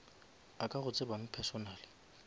a ka go tsebang personally